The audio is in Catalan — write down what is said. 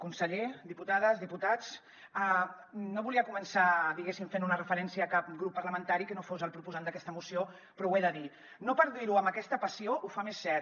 conseller diputades diputats no volia començar diguéssim fent una referència a cap grup parlamentari que no fos el proposant d’aquesta moció però ho he de dir no per dir ho amb aquesta passió ho fa més cert